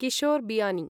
Kishore Biyani